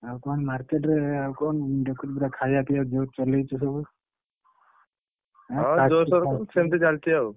ଆଉ କଣ market ରେ ଆଉ କଣ ଦେଖୁଛି ପୁରା ଖାଇବା ପିଇବା ଜୋର୍ ଚଲେଇଛୁ ସବୁ ।